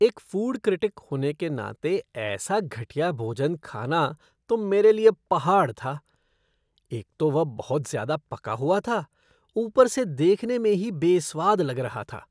एक food critic होने के नाते ऐसा घटिया भोजन खाना तो मेरे लिए पहाड़ था। एक तो वह बहुत ज़्यादा पका हुआ था, ऊपर से देखने में ही बेस्वाद लग रहा था।